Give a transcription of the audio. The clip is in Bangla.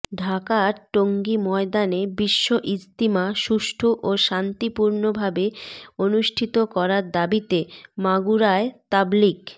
ঢাকার টঙ্গী ময়দানে বিশ্ব ইজতিমা সুষ্ঠু ও শান্তিপূর্নভাবে অনুষ্ঠিত করার দাবিতে মাগুরায় তাবলীগ